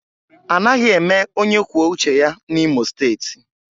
Anaghị eme onye kwuo uche ya N'Imo steeti